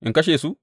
In kashe su?